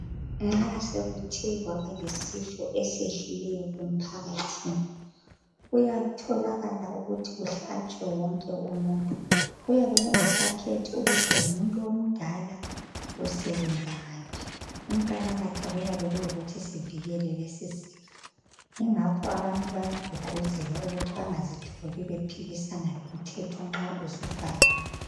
Nxa sokuthe kwabalesifo esikhona emphakathini kuyatholaka ukuthi kuyabe sokumele kuhlatshwe wonke umuntu kuyabe kungasakhethi ukuthi ungakanani usebenza ngaphi okuyabe kuqakathekile yikuthi sivikeleke ingakho abantu bayagqugquzelwa ukuthi bengazitholi bephikisana limthetho nxa usufakiwe